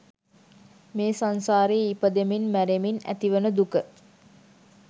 මේ සංසාරේ ඉපදෙමින් මැරෙමින් ඇතිවන දුක